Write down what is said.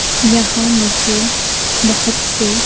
यहाँ मुझे बहुत से।